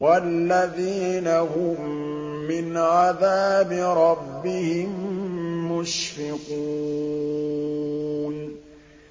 وَالَّذِينَ هُم مِّنْ عَذَابِ رَبِّهِم مُّشْفِقُونَ